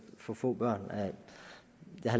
for få børn